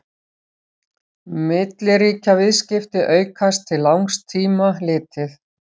milliríkjaviðskipti aukast til langs tíma litið